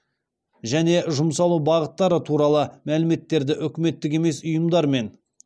және жұмсалу бағыттары туралы мәліметтерді үкіметтік емес ұйымдармен